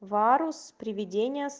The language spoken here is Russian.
варус приведенияс